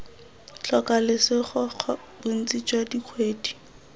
tlhoka lesego bontsi jwa dikgwebo